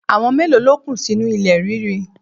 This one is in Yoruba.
Àwọn mélòó ló kú sínú ilẹ̀ ríri?